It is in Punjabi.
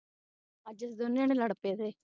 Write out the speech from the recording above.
ਅਜ ਤੁਸੀਂ ਦੋਨੋਂ ਜਣੇ ਲੜ ਪਏ ਦੇ